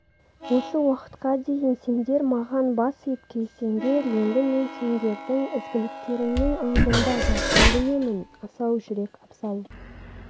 осы уақытқа дейін сендер маған бас иіп келсеңдер енді мен сендердің ізгіліктеріңнің алдында басымды иемін асау жүрек абзал